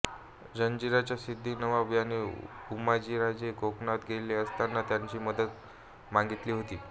जंजिऱ्याचा सिद्दी नवाब याने उमाजीराजे कोकणात गेले असताना त्यांना मदत मागितली होती